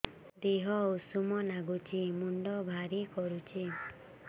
ଦିହ ଉଷୁମ ନାଗୁଚି ମୁଣ୍ଡ ଭାରି କରୁଚି